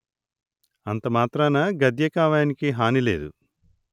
అంతమాత్రాన గద్యకావ్యానికి హాని లేదు